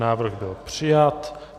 Návrh byl přijat.